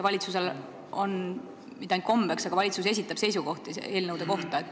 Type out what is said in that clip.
Valitsusel ei ole mitte ainult kombeks esitada, vaid valitsus esitabki seisukohti eelnõude kohta.